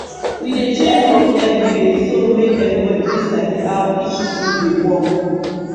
we dey change work every day so make everybody fit sabi how each tool dey work.